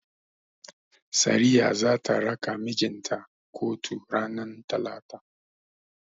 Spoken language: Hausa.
Sariya zata raka mijinta kotun ranar talata.